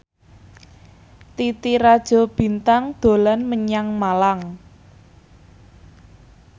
Titi Rajo Bintang dolan menyang Malang